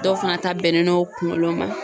Dɔw fana ta bɛnnen no kungolo ma